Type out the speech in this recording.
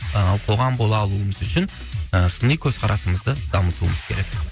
ал қоғам бола алуымыз үшін ы сыни көзқарасымызды дамытуымыз керек